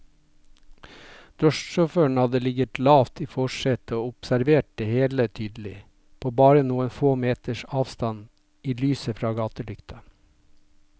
Drosjesjåføren hadde ligget lavt i forsetet og observert det hele tydelig, på bare noen få meters avstand i lyset fra gatelykta.